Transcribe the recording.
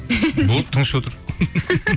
болды тыныш отыр